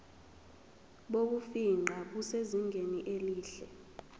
bokufingqa busezingeni elihle